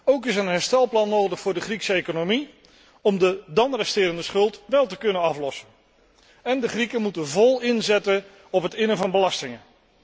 Ook is een herstelplan nodig voor de Griekse economie om de dan resterende schuld wel te kunnen aflossen, en de Grieken moet vol inzetten op het innen van belastingen.